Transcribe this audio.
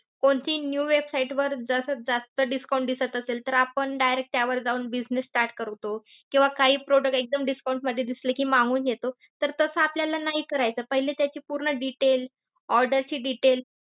कोणतीही new website वर जस जास्त discount दिसत असेल तर आपण direct त्यावर जाऊन business start करतो. किंवा काही product एकदम discount मध्ये दिसले की मागवून घेतो. तर तसं आपल्याला नाही करायचं. पहिले त्याचे पूर्ण details, order चे details